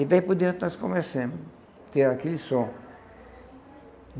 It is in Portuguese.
E daí por diante nós começamos a ter aquele som.